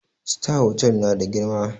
Sitar hotal na da girma